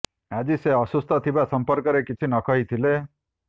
ଆଜି ସେ ଅସୁସ୍ଥ ଥିବା ସମ୍ପର୍କରେ କିଛି କହି ନ ଥିଲେ